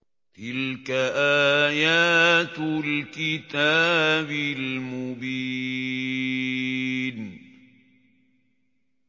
تِلْكَ آيَاتُ الْكِتَابِ الْمُبِينِ